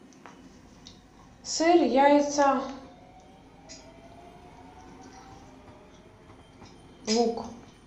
сыр яйца лук